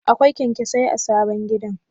Akwai kyanyasai a sabon gidan?